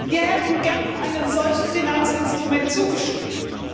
Wir hätten gerne einem solchen Finanzinstrument zugestimmt.